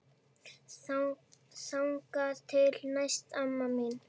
Þangað til næst, amma mín.